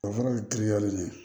O fana ye giriya de ye